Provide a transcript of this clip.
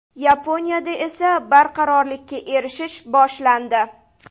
Yaponiyada esa barqarorlikka erishish boshlandi.